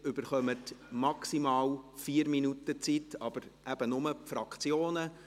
Sie erhalten maximal 4 Minuten Zeit, aber eben nur die Fraktionen.